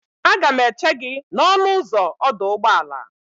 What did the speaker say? Aga m eche gị n'ọnụ ụzọ ọdụ ụgbọala.